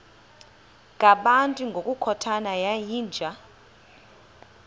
ngabantu ngokukhothana yinja